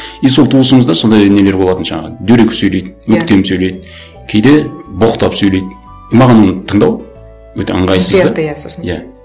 и сол туысымызда сондай нелер болатын жаңағы дөрекі сөйлейді өктем сөйлейді кейде боқтап сөйлейді и маған оны тыңдау өте ыңғайсыз да иә